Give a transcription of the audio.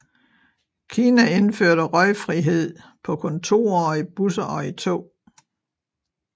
Kina indførte røgfrihed på kontorer og i busser og i tog